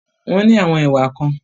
Wọ́n ní àwọn ìwà kan.